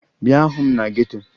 Bịa hụ m na geto!